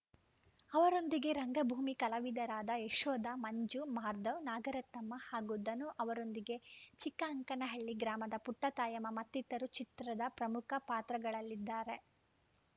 ಅವರೊಂದಿಗೆ ರಂಗಭೂಮಿ ಕಲಾವಿದರಾದ ಯಶೋಧಾ ಮಂಜು ಮಾರ್ಧವ್‌ ನಾಗರತ್ನಮ್ಮ ಹಾಗೂ ಧನು ಅವರೊಂದಿಗೆ ಚಿಕ್ಕ ಅಂಕನಹಳ್ಳಿ ಗ್ರಾಮದ ಪುಟ್ಟತಾಯಮ್ಮ ಮತ್ತಿತರರು ಚಿತ್ರದ ಪ್ರಮುಖ ಪಾತ್ರಗಳಲ್ಲಿದ್ದಾರೆ